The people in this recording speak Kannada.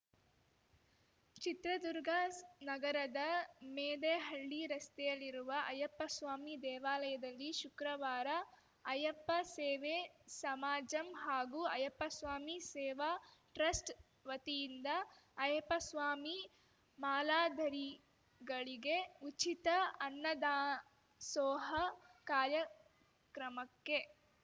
ಚಿತ್ರದುರ್ಗ ಸ್ ನಗರದ ಮೆದೇಹಳ್ಳಿ ರಸ್ತೆಯಲ್ಲಿರುವ ಅಯ್ಯಪ್ಪಸ್ವಾಮಿ ದೇವಾಲಯದಲ್ಲಿ ಶುಕ್ರವಾರ ಅಯ್ಯುಪ್ಪ ಸೇವೇ ಸಮಾಜಂ ಹಾಗೂ ಅಯ್ಯಪ್ಪಸ್ವಾಮಿ ಸೇವಾ ಟ್ರಸ್ಟ್‌ ವತಿಯಿಂದ ಅಯ್ಯಪ್ಪಸ್ವಾಮಿ ಮಾಲಾಧರಿಗಳಿಗೆ ಉಚಿತ ಅನ್ನದಾಸೋಹ ಕಾರ್ಯಕ್ರಮಕ್ಕೆ